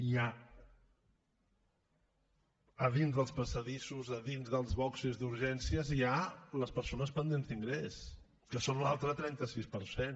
hi ha a dins dels passadissos a dins dels boxos d’urgències hi ha les persones pendents d’ingrés que són l’altre trenta sis per cent